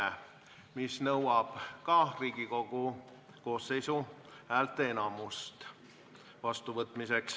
Selle vastuvõtmiseks läheb vaja Riigikogu koosseisu häälteenamust.